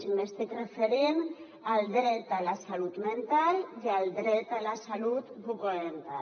i m’estic referint al dret a la salut mental i al dret a la salut bucodental